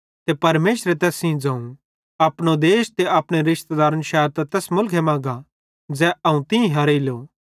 ते परमेशरे तैस सेइं ज़ोवं अपने मुलखे त अपने रिशतेदारन शैरतां तैस मुलखे मां गा ज़ै अवं तीं हरेइलो